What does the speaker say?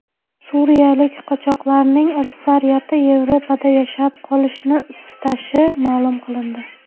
Suriyalik qochoqlarning aksariyati Yevropada yashab qolishni istashi ma’lum qilindi.